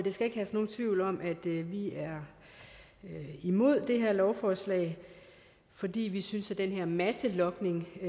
skal ikke herske nogen tvivl om at vi vi er imod det her lovforslag fordi vi synes at den her masselogning er